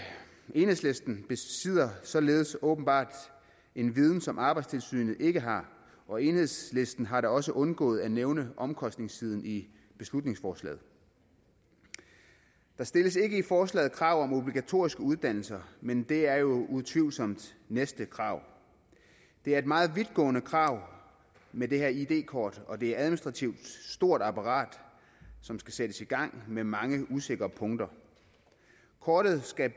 enhedslisten besidder således åbenbart en viden som arbejdstilsynet ikke har og enhedslisten har da også undgået at nævne omkostningssiden i beslutningsforslaget der stilles ikke i forslaget krav om obligatoriske uddannelser men det er jo utvivlsomt næste krav det er et meget vidtgående krav med det her id kort og det er administrativt et stort apparat som skal sættes i gang med mange usikre punkter kortet skal